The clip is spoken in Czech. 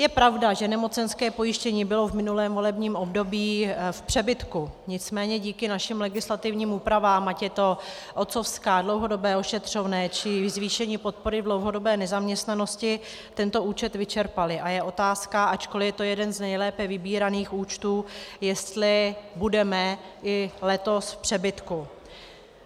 Je pravda, že nemocenské pojištění bylo v minulém volebním období v přebytku, nicméně díky našim legislativním úpravám, ať je to otcovská, dlouhodobé ošetřovné, či zvýšení podpory v dlouhodobé nezaměstnanosti, tento účet vyčerpaly a je otázka, ačkoli je to jeden z nejlépe vybíraných účtů, jestli budeme i letos v přebytku.